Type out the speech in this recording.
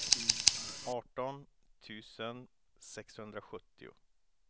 arton tusen sexhundrasjuttio